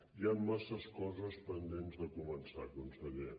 hi han massa coses pendents de començar conseller